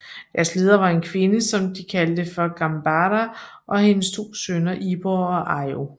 Deres leder var en kvinde som de kaldte for Gambara og hendes to sønner Ibor og Aio